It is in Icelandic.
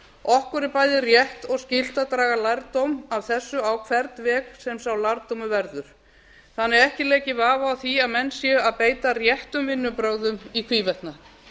okkur er bæði rétt og skylt að draga lærdóm af þessu á hvern veg sem sá lærdómur verður þannig að ekki leiki vafi á því að menn séu að beita réttum vinnubrögðum í hvívetna